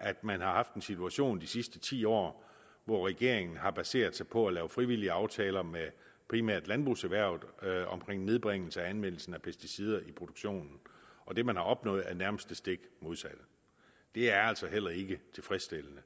at man har haft en situation de sidste ti år hvor regeringen har baseret sig på at lave frivillige aftaler med primært landbrugserhvervet omkring nedbringelse af anvendelsen af pesticider i produktionen og det man har opnået er nærmest det stik modsatte det er altså heller ikke tilfredsstillende